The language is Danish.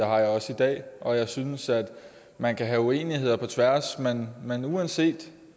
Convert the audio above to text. har jeg også i dag og jeg synes at man kan have uenigheder på tværs men men uanset